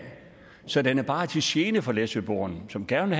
så den er bare til gene for læsøboerne som gerne